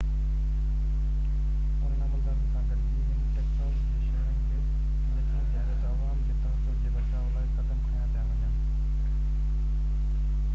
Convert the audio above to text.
انهن عملدارن سان گڏجي هن ٽيڪساس جي شهرين کي يقين ڏياريو ته عوام جي تحفظ جي بچاءُ لاءِ قدم کنيا پيا وڃن